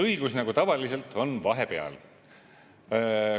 Õigus, nagu tavaliselt, on vahepeal.